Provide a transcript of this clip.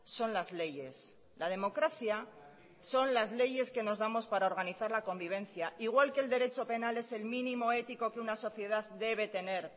son las leyes la democracia son las leyes que nos damos para organizar la convivencia igual que el derecho penal es el mínimo ético que una sociedad debe tener